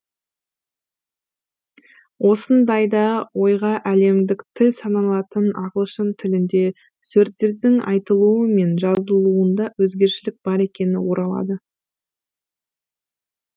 осындайда ойға әлемдік тіл саналатын ағылшын тілінде сөздердің айтылуы мен жазылуында өзгешелік бар екені оралады